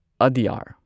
ꯑꯗ꯭ꯌꯥꯔ